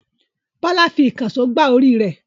Bọ́lá fi ìkànṣó gbá orí rẹ̀.